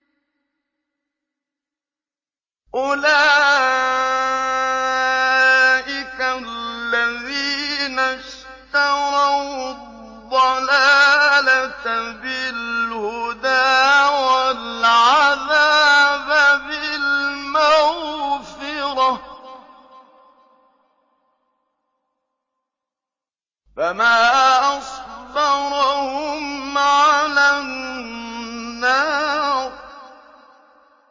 أُولَٰئِكَ الَّذِينَ اشْتَرَوُا الضَّلَالَةَ بِالْهُدَىٰ وَالْعَذَابَ بِالْمَغْفِرَةِ ۚ فَمَا أَصْبَرَهُمْ عَلَى النَّارِ